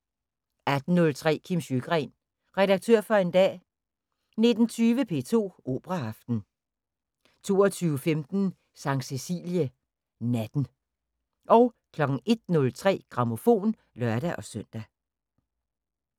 18:03: Kim Sjøgren – Redaktør for en dag 19:20: P2 Operaaften 22:15: Sankt Cæcilie Natten 01:03: Grammofon (lør-søn)